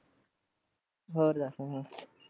ਹੋਰ ਦਸ ਤੂੰ?